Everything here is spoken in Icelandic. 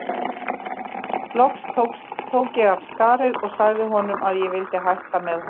Loks tók ég af skarið og sagði honum að ég vildi hætta með honum.